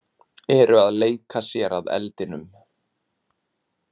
Eru að leika sér að eldinum